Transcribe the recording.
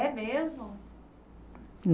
É mesmo?